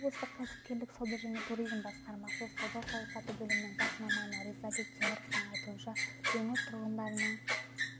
облыстық кәсіпкерлік сауда және туризм басқармасы сауда саясаты бөлімінің бас маманы ризабек теміровтің айтуынша өңір тұрғындарының